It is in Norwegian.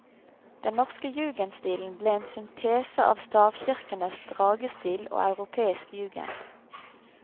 Den norske jugendstilen ble en syntese av stavkirkenes dragestil og europeisk jugend.